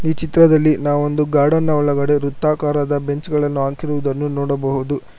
ಈ ಚಿತ್ರದಲ್ಲಿ ನಾವೊಂದು ಗಾರ್ಡನ್ ನ ಒಳಗಡೆ ವೃತ್ತಾಕಾರದ ಬೆಂಚ ಗಳನ್ನು ಹಾಕಿರುವುದನ್ನು ನೋಡಬಹುದು.